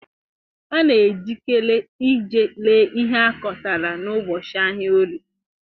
A na ejikere ije ree ihe akotara n'ubọchị ahịa Orie.